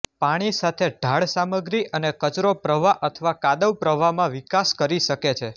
પાણી સાથે ઢાળ સામગ્રી અને કચરો પ્રવાહ અથવા કાદવ પ્રવાહમાં વિકાસ કરી શકે છે